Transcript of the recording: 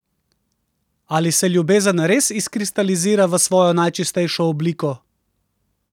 Ali se ljubezen res izkristalizira v svojo najčistejšo obliko?